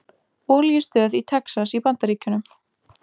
Olíustöð í Texas í Bandaríkjunum.